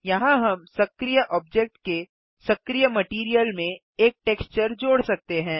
यहाँ हम सक्रिय ऑब्जेक्ट के सक्रिय मटैरियल में एक टेक्सचर जोड़ सकते हैं